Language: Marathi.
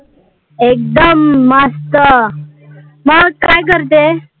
एकदम मस्त, मग काय करते?